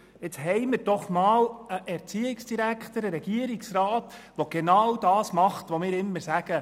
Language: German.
Nun haben wir für einmal einen Erziehungsdirektor, der genau das tut, was wir immer fordern.